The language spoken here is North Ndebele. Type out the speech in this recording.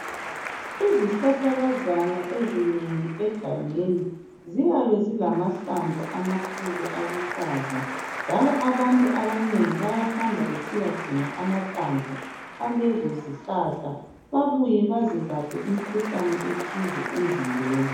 Izihlahla kazana ezinimgi egangeni ziyabe ezilamahlamvu amakhulu aluhlaza njalo abantu abanengi bayahamba besiyadinga amahlamvu alezi zihlahla babuye bazilaphe imikhuhlane ethize emzimbeni